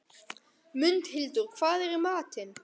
Mundhildur, hvað er í matinn?